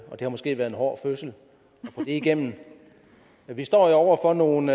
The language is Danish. har måske været en hård fødsel at skulle igennem det vi står over for nogle